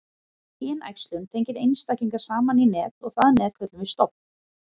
kynæxlun tengir einstaklinga saman í net og það net köllum við stofn